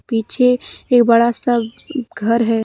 पीछे एक बड़ा सा घर है।